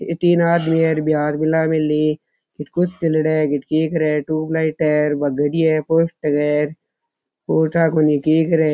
ये तीन आदमी है हाथ मिल रे है है देख रहे है ट्यूब लाइट है है पोस्टर है और ठा कोणी के करे है।